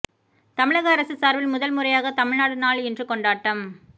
தமிழக அரசு சார்பில் முதல் முறையாக தமிழ்நாடு நாள் இன்று கொண்டாட்டம்